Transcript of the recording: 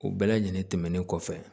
U bɛɛ lajɛlen tɛmɛnen kɔfɛ